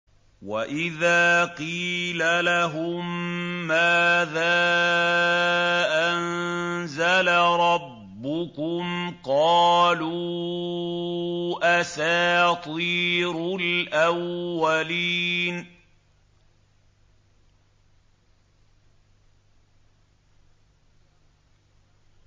وَإِذَا قِيلَ لَهُم مَّاذَا أَنزَلَ رَبُّكُمْ ۙ قَالُوا أَسَاطِيرُ الْأَوَّلِينَ